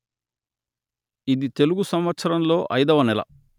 ఇది తెలుగు సంవత్సరంలో ఐదవ నెల